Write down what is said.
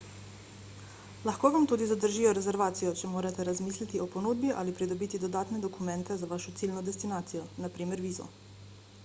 lahko vam tudi zadržijo rezervacijo če morate razmisliti o ponudbi ali pridobiti dodatne dokumente za vašo ciljno destinacijo npr. vizo